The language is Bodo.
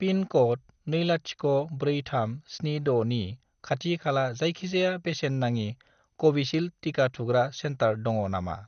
पिन क'ड 204376 नि खाथि खाला जायखिजाया बेसेन नाङि कविसिल्द टिका थुग्रा सेन्टार दङ नामा?